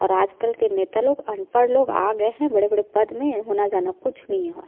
और आज -कल के नेता लोग अंनपढ़ आ गए है बड़े-बड़े पद में होना जाना कुछ नहीं और--